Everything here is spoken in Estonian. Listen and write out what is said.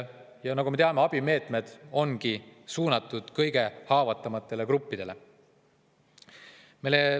Ja nagu me teame, abimeetmed on ju suunatud kõige haavatavamatele gruppidele.